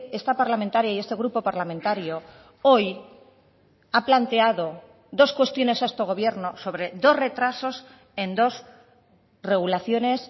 esta parlamentaria y este grupo parlamentario hoy ha planteado dos cuestiones a este gobierno sobre dos retrasos en dos regulaciones